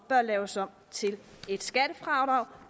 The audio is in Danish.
bør laves om til et skattefradrag